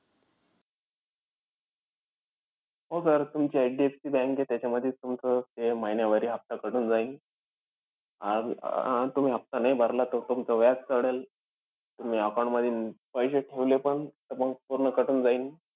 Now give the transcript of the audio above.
हो sir तुमची HDFC bank आहे, त्याच्यामधीचं तुमचं हे महिन्यावारी हफ्ता cut होऊन जाईन. आह अं तुम्ही हफ्ता नाई भरला तर तुमचं व्याज चढेल. तुम्ही account मध्ये पैसे ठेवलेपण तर मंग पूर्ण cut होऊन जाईन.